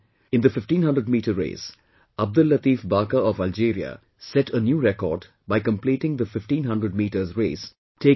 In the 1500 meter race, Abdellatif Baka of Algeria set a new record by completing the 1500 meters race taking 1